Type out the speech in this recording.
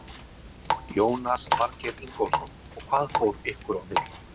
Jónas Margeir Ingólfsson: Og hvað fór ykkar á milli?